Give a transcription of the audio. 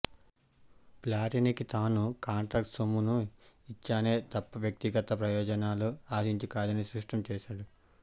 ప్లాటినీకి తాను కాంట్రాక్టు సొమ్మును ఇచ్చానే తప్ప వ్యక్తిగత ప్రయోజనాలను ఆశించి కాదని స్పష్టం చేశాడు